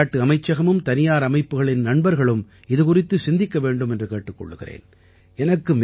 விளையாட்டு அமைச்சகமும் தனியார் அமைப்புகளின் நண்பர்களும் இது குறித்து சிந்திக்க வேண்டும் என்று கேட்டுக் கொள்கிறேன்